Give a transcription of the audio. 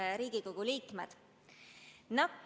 Head Riigikogu liikmed!